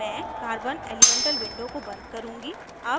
मैं carbon elemental window को बंद करुँगी